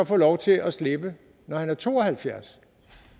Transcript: få lov til at slippe når han er to og halvfjerds